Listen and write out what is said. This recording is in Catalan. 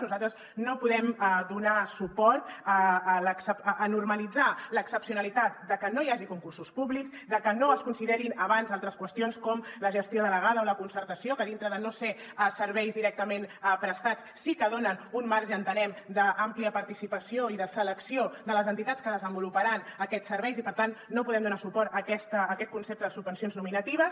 nosaltres no podem donar suport a normalitzar l’excepcionalitat de que no hi hagi concursos públics de que no es considerin abans altres qüestions com la gestió delegada o la concertació que dintre de no ser serveis directament prestats sí que donen un marge entenem d’àmplia participació i de selecció de les entitats que desenvoluparan aquests serveis i per tant no podem donar suport a aquest concepte de subvencions nominatives